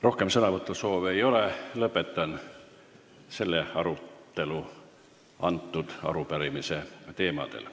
Rohkem sõnavõtusoove ei ole, lõpetan arutelu arupärimise teemadel.